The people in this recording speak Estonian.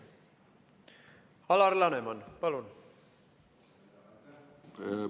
Alar Laneman, palun!